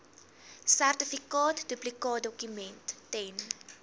sertifikaat duplikaatdokument ten